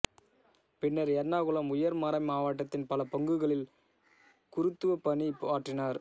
பின்னர் எர்ணாகுளம் உயர்மறைமாவட்டத்தின் பல பங்குகளில் குருத்துவப் பணி ஆற்றினார்